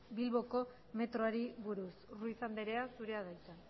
bilboko metroari buruz ruiz andrea zurea da hitza